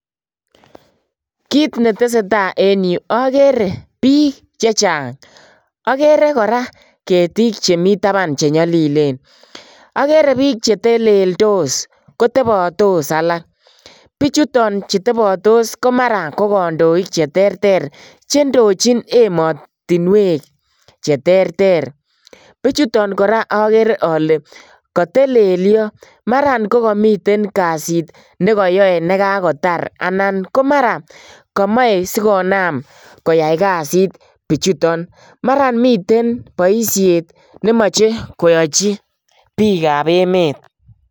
Kiit neteseta en yuu okere biik chechang, okere kora ketik chemi taban chenyolilen, okere biik cheteleldos kotebotos alak, bichuton chutebotos komara ko kondoik cheterter chendochin emotinwek cheterter, bichuton kora okere olee kotelelio, maran kokomiten kasit nekoyoe nekakotar anan komara komoe sikonam koyai kasit bichuton, maran miten boishet nemoche koyochi biikab emet.